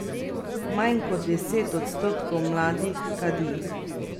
Manj kot deset odstotkov mladih kadi.